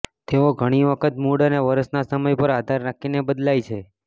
તેઓ ઘણી વખત મૂડ અને વર્ષના સમય પર આધાર રાખીને બદલાય છે